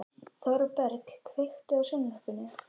Þorberg, kveiktu á sjónvarpinu.